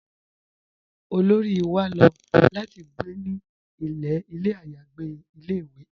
Olóri wà ló láti gbé ní ilẹ̀ ayàgbè ilẹ̀-ìwé